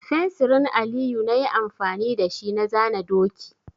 Fensirin Aliyu na yi amfani da shi na zana doki.